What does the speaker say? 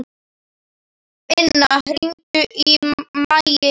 Inna, hringdu í Maggeyju.